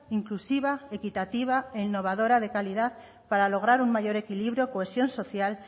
inclusiva equitativa e innovadora de calidad para lograr un mayor equilibrio cohesión social